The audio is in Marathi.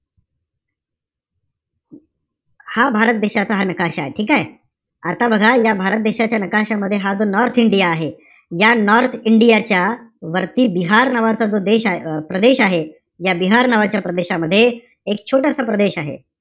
हा भारत देशाचा हा नकाशाय ठीके? आता बघा या भारत देशाच्या नकाशामध्ये हा जो नॉर्थ इंडिया आहे, या नॉर्थ इंडियाच्या वरती बिहार नावाचं जो देश~ अं प्रदेश आहे. या बिहार नावाच्या प्रदेशामध्ये, एक छोटासा प्रदेश आहे.